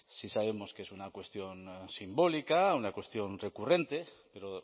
sí sabemos que es una cuestión simbólica una cuestión recurrente pero